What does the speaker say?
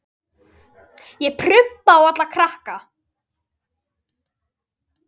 Ég prumpa á alla krakka.